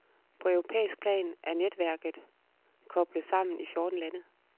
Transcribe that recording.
På europæisk plan er netværket koblet sammen i fjorten lande.